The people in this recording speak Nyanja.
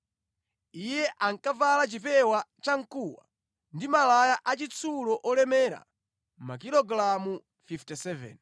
Iye ankavala chipewa chamkuwa ndi malaya achitsulo olemera makilogalamu 57.